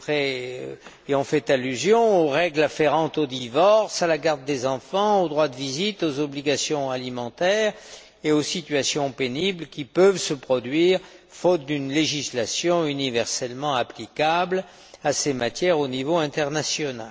Deprez y ont fait allusion aux règles afférentes aux divorces, à la garde des enfants, aux droits de visite, aux obligations alimentaires et aux situations pénibles qui peuvent se produire faute d'une législation universellement applicable à ces matières, au niveau international.